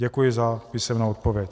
Děkuji za písemnou odpověď.